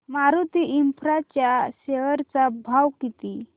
Maruti Infra च्या share चा भाव किती